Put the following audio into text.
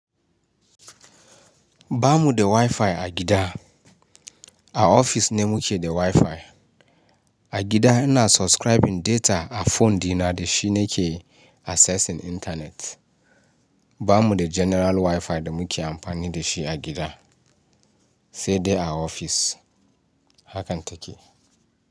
Ba mu da Wi-Fi a gida. A ofis ne muke da Wi-Fi. A gida ina subscribing data a phone dina da shi nake assessing internet. Ba mu da general Wi-Fi da muke amfani da shi a gida, sai dai a ofis. Hakan take.